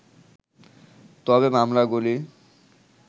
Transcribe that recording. তবে মামলাগুলি